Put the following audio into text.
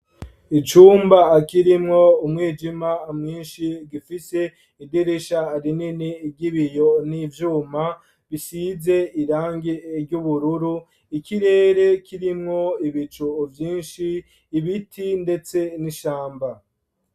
Icumba kirimwo, umwijima mwinshi ,gifise idirisha rinini ry'ibiyo n'ivyuma ,bisize irangi ry'ubururu, ikirere kirimwo ibicu Vyinshi, ibiti ndetse n'ishamba.